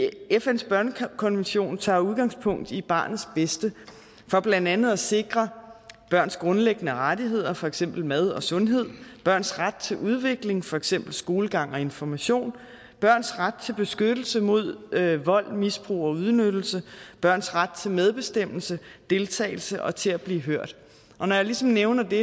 fns børnekonvention tager udgangspunkt i barnets bedste for blandt andet at sikre børns grundlæggende rettigheder for eksempel mad og sundhed børns ret til udvikling for eksempel skolegang og information børns ret til beskyttelse mod vold misbrug og udnyttelse børns ret til medbestemmelse deltagelse og til at blive hørt og når jeg ligesom nævner det